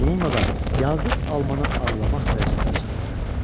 Bununla da yazıq Almanı ağlamaq dərəcəsinə çatdırırdı.